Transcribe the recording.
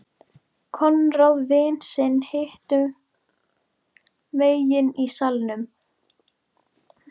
Konráð vin sinn hinum megin í salnum.